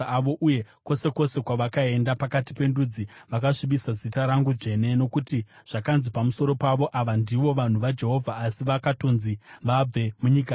Uye kwose kwose kwavakaenda pakati pendudzi, vakasvibisa zita rangu dzvene, nokuti zvakanzi pamusoro pavo, ‘Ava ndivo vanhu vaJehovha, asi vakatonzi vabve munyika yake.’